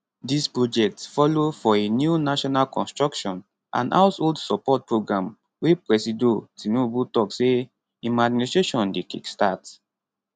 dis project follow for a new national construction and household support programme wey presido tinubu tok say im administration dey kickstart